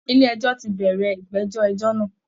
Ilé ẹjọ́ ti bẹ̀rẹ̀ ìgbẹ́jọ́ ẹjọ́ náà